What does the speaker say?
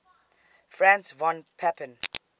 franz von papen